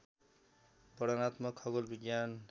वर्णनात्मक खगोल विज्ञान